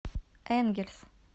энгельс